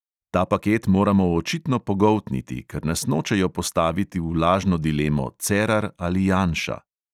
Ta paket moramo očitno pogoltniti, ker nas hočejo postaviti v lažno dilemo cerar ali janša.